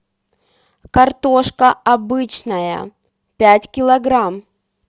картошка обычная пять килограмм